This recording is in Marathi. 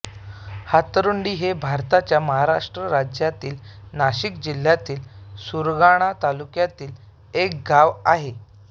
हातरुंडी हे भारताच्या महाराष्ट्र राज्यातील नाशिक जिल्ह्यातील सुरगाणा तालुक्यातील एक गाव आहे